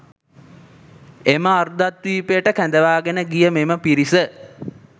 එම අර්ධද්වීපයට කැඳවාගෙන ගිය මෙම පිරිස